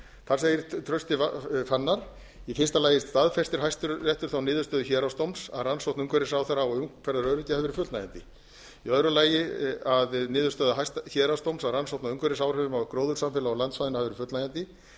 þar segir trausti fannar í fyrsta lagi staðfestir hæstiréttur þá niðurstöðu héraðsdóms að rannsókn umhverfisráðherra á umferðaröryggi hafi verið fullnægjandi í öðru lagi staðfestir hæstiréttur þá niðurstöðu héraðsdóms að rannsókn á umhverfisáhrifum á gróðursamfélag á landsvæðinu hafi verið fullnægjandi í